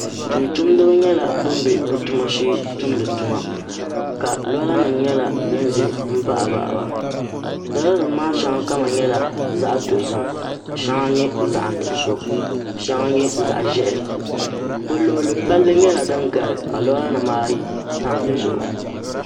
tumtumdiba nyɛla bin bɛ bi tuma shee tumdi tuma ka lora nim nyɛ din ʒɛ n baɣa baɣaba lora nim maa shɛŋa kama nyɛla zaɣ dozim ka shɛŋa nyɛ zaɣ nuɣso ka shɛŋa nyɛ zaɣ ʒiɛhi bi luɣuli ni palli nyɛla din gari ka lora nim maa tam dizuɣu